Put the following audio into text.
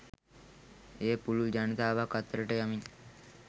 එය පුළුල් ජනතාවක් අතරට යමින්